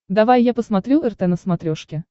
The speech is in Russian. давай я посмотрю рт на смотрешке